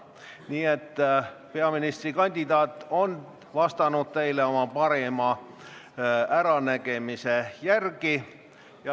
Nii et peaministrikandidaat on vastanud teile oma parima äranägemise järgi.